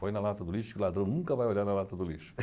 Põe na lata do lixo que o ladrão nunca vai olhar na lata do lixo.